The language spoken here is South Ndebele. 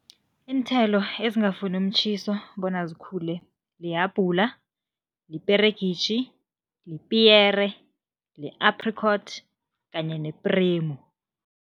Iinthelo ezingafuni umtjhiso bona zikhule, lihabhula, liperegitjhi, lipiyere, li-apricot kanye nepremu.